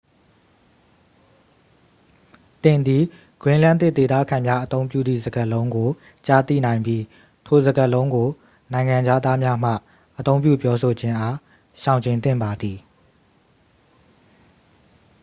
သင်သည် greenlandic ဒေသခံများအသုံးပြုသည့်စကားလုံးကို ကြားသိနိုင်ပြီး ထိုစကားလုံးကို နိုင်ငံခြားသားများမှ အသုံးပြုပြောဆိုခြင်းအား ရှောင်ကြဉ်သင့်ပါသည်